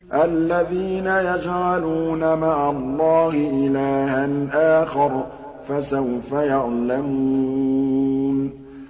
الَّذِينَ يَجْعَلُونَ مَعَ اللَّهِ إِلَٰهًا آخَرَ ۚ فَسَوْفَ يَعْلَمُونَ